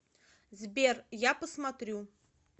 сбер я посмотрю